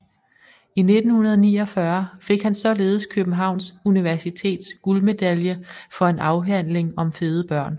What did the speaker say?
I 1949 fik han således Københavns Universitets guldmedalje for en afhandling om fede børn